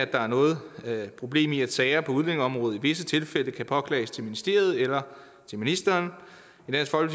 der er noget problem i at sager på udlændingeområdet i visse tilfælde kan påklages til ministeriet eller til ministeren